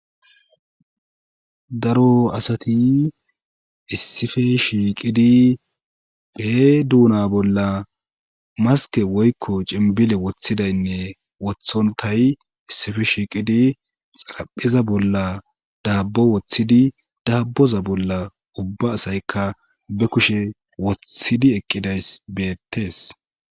Daro asati issippe shiiqidi bee duuna bolla maske woykko cembile woththidaynne wothontay issippe shiiqidi xaraphpheza bolla dabbo woththidi daabboza bolla ubba asaykka be kushe wothidi eqqidays beettees